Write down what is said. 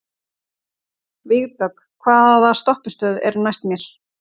Vígdögg, hvaða stoppistöð er næst mér?